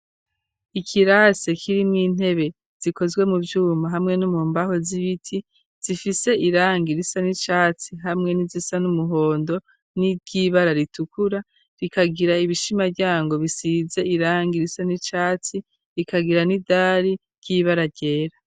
Ikirase kiriwo intebe zikozwe mu byuma hamwe n'umumbaho z'ibiti zifise irangi irisa n'icatsi hamwe n'izisa n'umuhondo n'ivy'ibara ritukura rikagira ibishima ryango bisize irangi risa n'icatsi rikagira n'idari ry'ibara ryera.